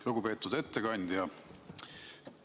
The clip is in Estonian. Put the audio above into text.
Lugupeetud ettekandja!